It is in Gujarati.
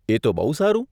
એ તો બહુ સારું.